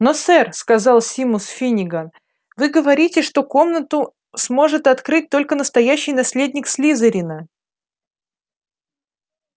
но сэр сказал симус финниган вы говорите что комнату сможет открыть только настоящий наследник слизерина